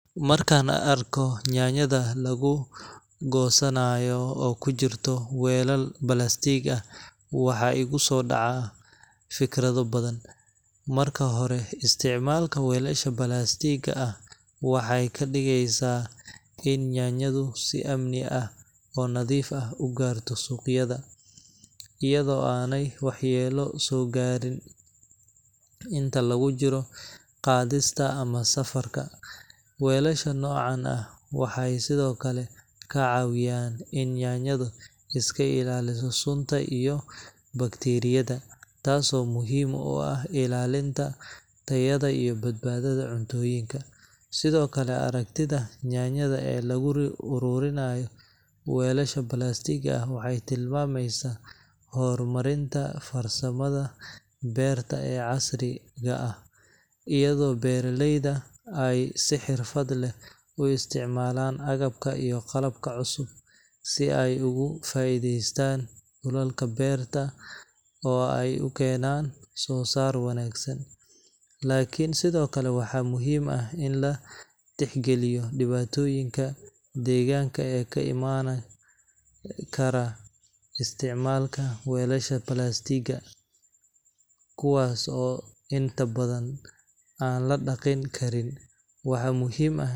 Markaan arko yaanyada lagu goosanayo oo ku jira weelal plastiig ah, waxaa igu soo dhacaa fikrado badan. Marka hore, isticmaalka weelasha plastiigga ah waxay ka dhigeysaa in yaanyadu si ammaan ah oo nadiif ah u gaarto suuqyada, iyadoo aanay waxyeelo soo gaadhin inta lagu jiro qaadista ama safarka. Weelasha noocan ah waxay sidoo kale ka caawiyaan in yaanyadu iska ilaaliso sunta iyo bakteeriyada, taasoo muhiim u ah ilaalinta tayada iyo badbaadada cuntooyinka. Sidoo kale, aragtida yaanyada ee lagu uruurinayo weelasha plastiigga waxay tilmaamaysaa horumarinta farsamada beerta ee casriga ah, iyadoo beeraleydu ay si xirfad leh u isticmaalaan agabka iyo qalabka cusub si ay uga faa’iideystaan dhulalka beerta oo ay u keenaan soo saar wanaagsan. Laakiin, sidoo kale waxaa muhiim ah in la tixgeliyo dhibaatooyinka deegaanka ee ka imaan kara isticmaalka weelasha plastiigga, kuwaas oo inta badan aan la dhaqin karin. Waxaa muhiim ah.